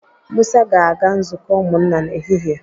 Musa ga-aga nzukọ ụmụnna n'ehihie